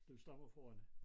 Du stammer fra Rønne?